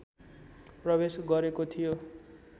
प्रवेश गरेको थियो